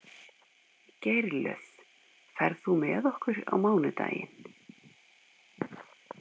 Geirlöð, ferð þú með okkur á mánudaginn?